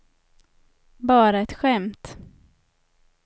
bara ett skämt